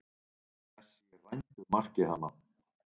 Messi rændur marki þarna.